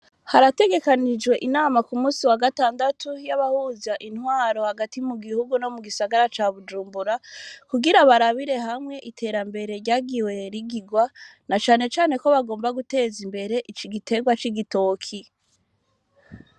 Harategekanijwe inama ku munsi wa gatandatu, y'abahuza intwaro hagati mu gihugu no mu gisagara ca Bujumbura, kugira ngo barabire hamwe iterambere ryagiwe rigirwa, na cane cane ko bagomba guteza imbere igiterwa c'igitoki.